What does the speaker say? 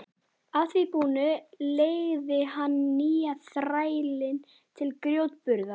Að því búnu leigði hann nýja þrælinn til grjótburðar.